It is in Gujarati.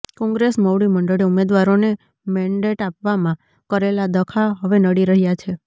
કોંગ્રેસ મોવડી મંડળે ઉમેદવારોને મેન્ડેટ આપવામાં કરેલા ડખા હવે નડી રહ્યાં છે